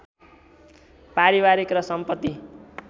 पारिवारिक र सम्पत्ति